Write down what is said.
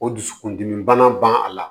O dusukun dimi bana ban a la